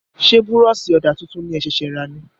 Ṣé búrọ̀sì ọ̀dà tuntun ní e ṣẹ̀sẹ̀ ra ní?